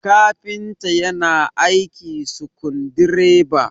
kafinta yana aiki sukundi reba